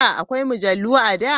Akwai mujallu a da?